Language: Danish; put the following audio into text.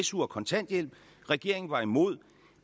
su og kontanthjælp regeringen var imod